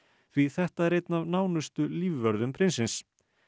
því þetta er einn af nánustu lífvörðum prinsins